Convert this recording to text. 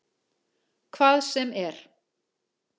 Hvað sem er.